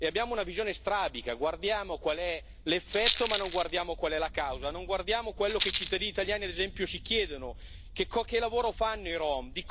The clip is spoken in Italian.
Abbiamo una visione strabica guardiamo qual è l'effetto ma non guardiamo qual è la causa. Non guardiamo quello che i cittadini italiani, ad esempio, si chiedono che lavoro fanno i rom?